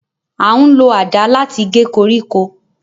A n lo adà latí gé koríko